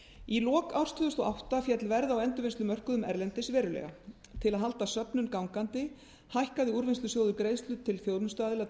í lok árs tvö þúsund og átta féll verð á endurvinnslumörkuðum erlendis verulega til að halda söfnun gangandi hækkaði úrvinnslusjóður greiðslur til þjónustuaðila